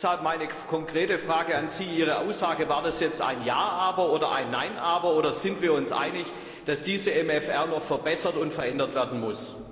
Deshalb meine konkrete Frage an Sie War Ihre Aussage jetzt ein Ja, aber oder ein Nein, aber, oder sind wir uns einig, dass dieser MFR noch verbessert und verändert werden muss?